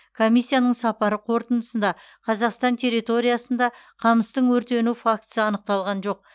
комиссияның сапары қорытындысында қазақстан территориясында қамыстың өртену фактісі анықталған жоқ